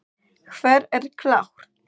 Hver er klár?